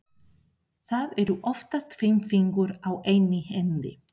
Það eru oftast fimm fingur á einni hendi.